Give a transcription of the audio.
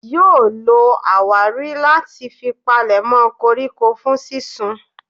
Yóò lo àwárí láti fi palèmọ́ koríko fún sínsun.